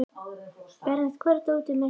Berent, hvar er dótið mitt?